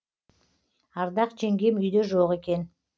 ардақ жеңгем үйде жоқ екен